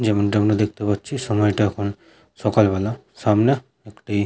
যেমনটা আমরা দেখতে পাচ্ছি সময়টা এখন সকাল বেলা সামনে একটি --